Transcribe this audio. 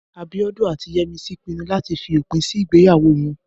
Abíọ́dún àti Yẹ́misí pinnu láti fi òpin sí ìgbéyàwó wọn